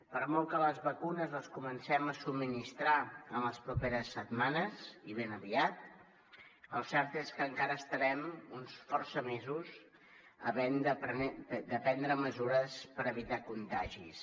per molt que les vacunes les comencem a subministrar en les properes setmanes i ben aviat el cert és que encara estarem força mesos havent de prendre mesures per evitar contagis